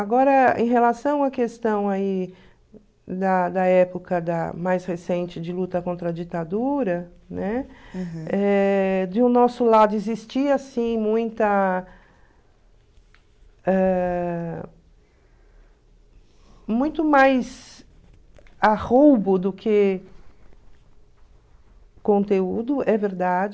Agora, em relação à questão aí da da época mais recente de luta contra a ditadura, né, eh de o nosso lado existia, sim, muita... ãh muito mais do que conteúdo, é verdade.